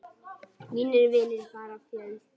Mínir vinir fara fjöld.